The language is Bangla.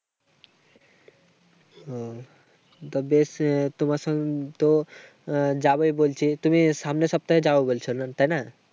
হম তো বেশ। তোমার সঙ্গে তো যাবোই বলছি। তুমি সামনের সপ্তাহে যাবে বলছো। তাইনা?